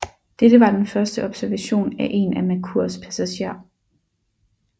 Dette var den første observation af en af Merkurs passager